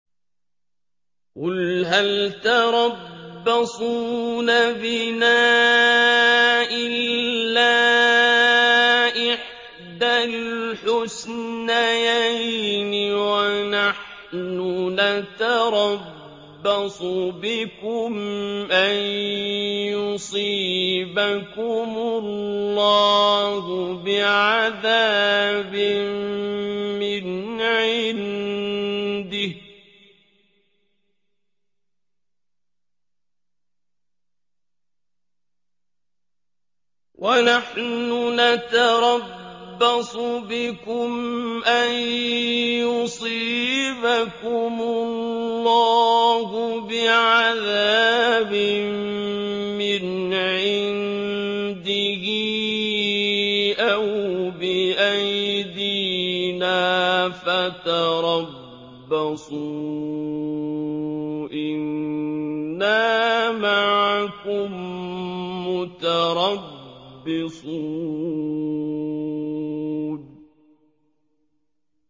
قُلْ هَلْ تَرَبَّصُونَ بِنَا إِلَّا إِحْدَى الْحُسْنَيَيْنِ ۖ وَنَحْنُ نَتَرَبَّصُ بِكُمْ أَن يُصِيبَكُمُ اللَّهُ بِعَذَابٍ مِّنْ عِندِهِ أَوْ بِأَيْدِينَا ۖ فَتَرَبَّصُوا إِنَّا مَعَكُم مُّتَرَبِّصُونَ